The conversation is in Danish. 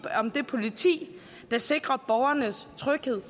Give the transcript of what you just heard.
om det politi der sikrer borgernes tryghed